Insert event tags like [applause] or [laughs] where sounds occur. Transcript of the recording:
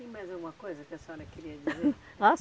Tem mais alguma coisa que a senhora queria dizer? [laughs] Ah